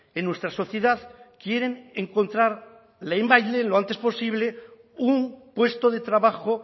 en nuestra sociedad quieren encontrar lehenbailehen lo antes posible un puesto de trabajo